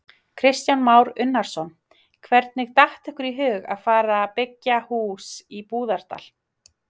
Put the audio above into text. Kristján Már Unnarsson: Hvernig datt ykkur í hug að fara byggja hús í Búðardal?